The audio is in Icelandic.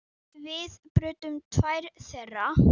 Við brutum tvær þeirra.